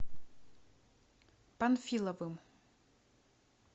панфиловым